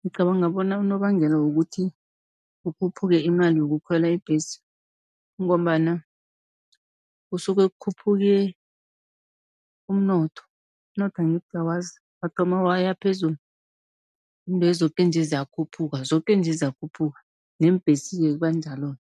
Ngicabanga bona unobangela wokuthi kukhuphuke imali yokukhwela ibhesi, kungombana kusuke kukhuphuke umnotho. Umnotho angithi uyawazi wathoma waya pheulu intwezi zoke nje ziyakhuphuka, zoke nje ziyakhuphuka neembhesi-ke kuba njalo-ke.